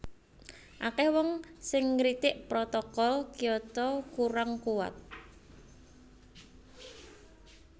Akèh wong sing ngritik Protokol Kyoto kurang kuwat